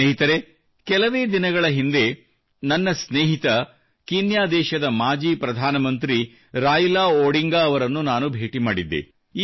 ಸ್ನೇಹಿತರೇ ಕೆಲವೇ ದಿನಗಳ ಹಿಂದೆ ನನ್ನ ಸ್ನೇಹಿತ ಕೀನ್ಯಾ ದೇಶದ ಮಾಜಿ ಪ್ರಧಾನ ಮಂತ್ರಿ ರಾಯಿಲಾ ಒಡಿಂಗಾ ಅವರನ್ನು ನಾನು ಭೇಟಿ ಮಾಡಿದ್ದೆ